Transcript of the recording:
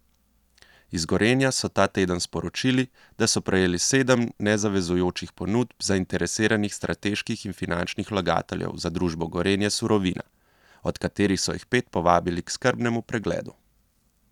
Iz Gorenja so ta teden sporočili, da so prejeli sedem nezavezujočih ponudb zainteresiranih strateških in finančnih vlagateljev za družbo Gorenje Surovina, od katerih so jih pet povabili k skrbnemu pregledu.